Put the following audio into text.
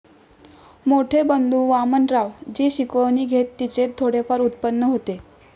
मोठे बंधू वामनराव जी शिकवणी घेत तिचे थोडेफार उत्पन्न होते.